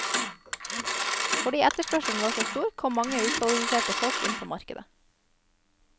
Fordi etterspørselen var så stor, kom mange ukvalifiserte folk inn på markedet.